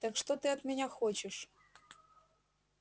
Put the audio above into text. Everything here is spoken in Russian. так что ты от меня хочешь